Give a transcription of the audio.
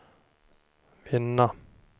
vinna